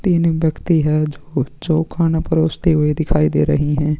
तीन व्यक्ति है जो जो खाना परोसते हुए दिखाई दे रहे है।